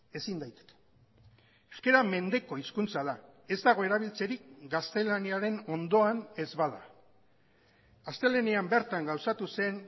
ezin daiteke euskara mendeko hizkuntza da ez dago erabiltzerik gaztelaniaren ondoan ez bada astelehenean bertan gauzatu zen